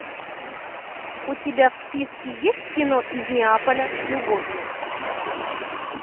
у тебя в списке есть кино из неаполя с любовью